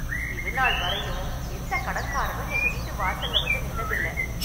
இது நாள் வரையும் எந்த கடன்காரனும் எங்க வீட்டு வாசல்ல வந்து நின்னது இல்லை.